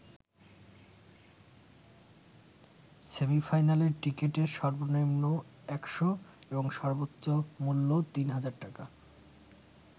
সেমি-ফাইনালের টিকেটের সর্বনিম্ন ১০০ এবং সর্বোচ্চ মূল্য তিন হাজার টাকা।